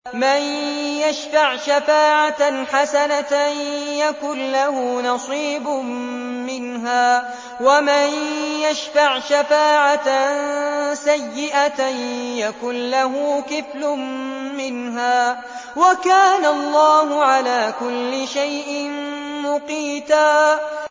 مَّن يَشْفَعْ شَفَاعَةً حَسَنَةً يَكُن لَّهُ نَصِيبٌ مِّنْهَا ۖ وَمَن يَشْفَعْ شَفَاعَةً سَيِّئَةً يَكُن لَّهُ كِفْلٌ مِّنْهَا ۗ وَكَانَ اللَّهُ عَلَىٰ كُلِّ شَيْءٍ مُّقِيتًا